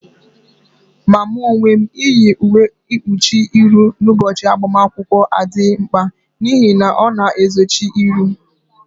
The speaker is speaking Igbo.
Ma mụ onwe m, iyi uwe mkpuchi ihụ n'ụbọchị agbamakwụkwọ adịghị mkpa n'ihi na ọ na-ezochi ihu